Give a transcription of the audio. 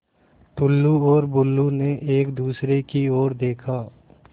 टुल्लु और बुल्लु ने एक दूसरे की ओर देखा